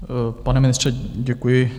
Pane ministře, děkuji.